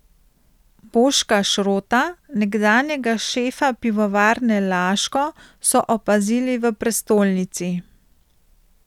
Boška Šrota, nekdanjega šefa Pivovarne Laško, so opazili v prestolnici.